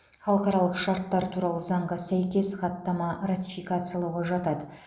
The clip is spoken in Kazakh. халықаралық шарттар туралы заңға сәйкес хаттама ратификациялауға жатады